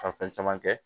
Ka fɛn caman kɛ